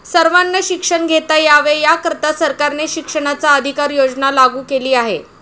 सर्वांना शिक्षण घेता यावे याकरिता सरकारने शिक्षणाचा अधिकार योजना लागू केली आहे.